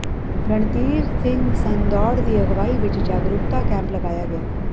ਰਣਧੀਰ ਸਿੰਘ ਸੰਦੌੜ ਦੀ ਅਗਵਾਈ ਵਿੱਚ ਜਾਗਰੂਕਤਾ ਕੈਂਪ ਲਗਾਇਆ ਗਿਆ